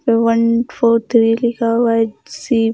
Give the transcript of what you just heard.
one four three लिखा हुआ है सी --